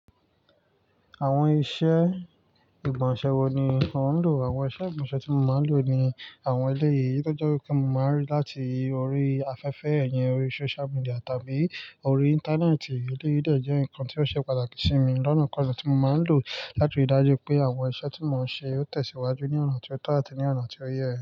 Àwọn iṣẹ́ ìgbọ̀nsẹ̀ wo ni o ń lò? Àwọn iṣẹ́ ìgbọ̀nsẹ̀ tí mo máa ń lò ni àwọn eléyìí tó jẹ́ wípé mo máa ń rí láti orí afẹ́fẹ́ iyen, orí social media tàbí orí Íńtánẹ́ẹ̀tì. Eléyìí dẹ́ je ǹkan tí ó ṣe pàtàkì sí mi lọ́nà kan tí mo máa ń lò láti rí dájú pé àwọn iṣẹ́ tí mo ń ṣe ó tẹ̀síwájú ní ọ̀nà tio to àti ní ọ̀nà tí ó yẹ.